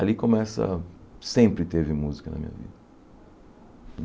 Ali começa... Sempre teve música na minha vida.